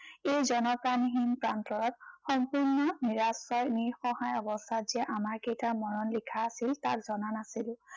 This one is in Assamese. এই জনপ্ৰাণীহীন প্ৰান্তৰত সম্পূৰ্ণ নিৰাশ্ৰয়, নিঃসহায় অৱস্থাত যে আমাৰ কেইটাৰ মৰণ লিখা আছিল, তাক জনা নাছিলো।